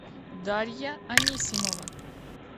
дарья анисимова